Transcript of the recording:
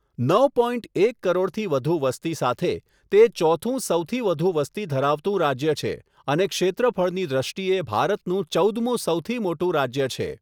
નવ પોઇન્ટ એક કરોડથી વધુ વસ્તી સાથે, તે ચોથું સૌથી વધુ વસ્તી ધરાવતું રાજ્ય છે અને ક્ષેત્રફળની દ્રષ્ટિએ ભારતનું ચૌદમું સૌથી મોટું રાજ્ય છે.